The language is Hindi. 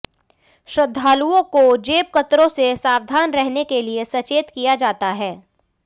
श्रद्धालुओं को जेबकतरों से सावधान रहने के लिए सचेत किया जाता है